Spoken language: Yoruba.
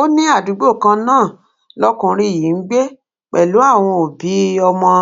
ó ní àdúgbò kan náà lọkùnrin yìí ń gbé pẹlú àwọn òbí ọmọ